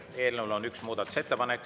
Eelnõu kohta on üks muudatusettepanek.